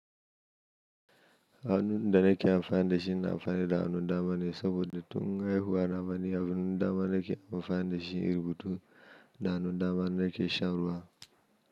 Hannun da nake amfani da shi ina amfani da hannun dama ne saboda tun haihuwa na ma ni hannun dama nake amfani da shi inyi rubutu da hannun dama nake shan ruwa.